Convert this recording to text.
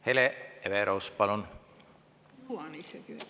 Hele Everaus, palun!